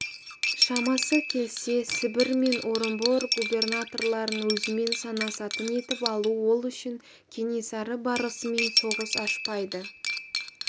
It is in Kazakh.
шамасы келсе сібір мен орынбор губернаторларын өзімен санасатын етіп алу ол үшін кенесары барысымен соғыс ашпайды